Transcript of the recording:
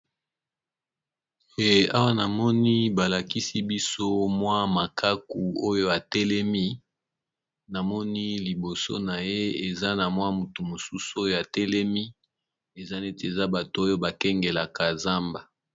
Awa namoni balakisi biso mwa makaku oyo atelemi, namoni liboso na ye eza na mwa mutu mosusu oyo atelemi eza neti eza bato oyo bakengelaka zamba.